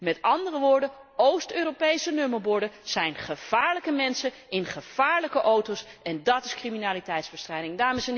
Met andere woorden, Oost Europese nummerborden duiden op gevaarlijke mensen in gevaarlijke auto's, en dát is criminaliteitsbestrijding.